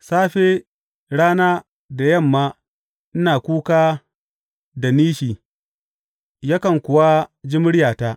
Safe, rana da yamma ina kuka da nishi, yakan kuwa ji muryata.